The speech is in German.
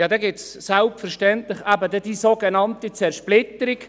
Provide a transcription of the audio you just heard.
Dann gibt es selbstverständlich die sogenannte Zersplitterung.